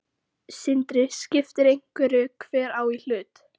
Sindri: Skiptir einhverju hver á í hlut?